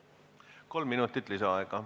Kolm minutit lisaaega.